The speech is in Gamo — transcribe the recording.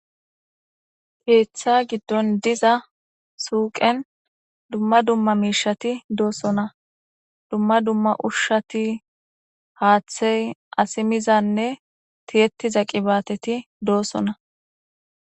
keeththa giddon diza suuqen dumma dumma miishati doossona dumma dumma ushshati haaththey asimizanne tiyettiza qibaateti doossona